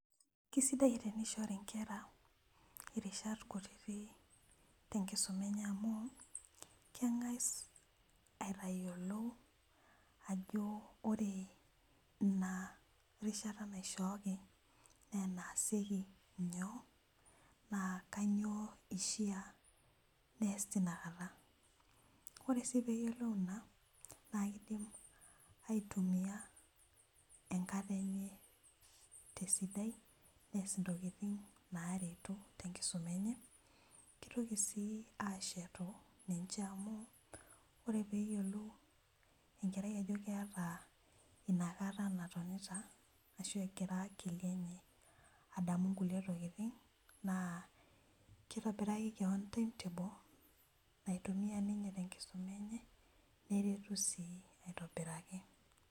Kesidai teneishori inkera rishat kutiti te nkisuma enye amuu kengas aitayolo ajo ore ina rishata naishooki naa naasieki nyoo, naa kainyoo eishaa neasi teina kata, ore sii piiyolou ina naa keidim aitumiya enkata enye te sidai, neas ntokitin naareto te nkisuma enye, keitoki sii aashetu ninche amu ore peeyiolou enkerai ajo keata inakata natonita, ashu egira akili adamu nkule tokitin, naa keitobiraki keon [cs[ timetable naitumiya ninye te nkisuma enye, neretu sii aitobiraki.